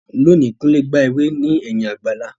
Lónìí, Kunle gba ewé ní ẹ̀yìn àgbàlá.